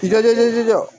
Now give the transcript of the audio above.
I ka teli dɛ